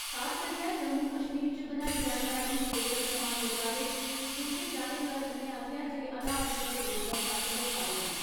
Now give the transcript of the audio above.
खास करियै, जम्मू कश्मीर च बनाई जाने आली थियेटर कमान दे बारे च पुच्छे जाने पर उनें आक्खेआ जे हालात उप्पर बरोबर तक्क रखा रदे न।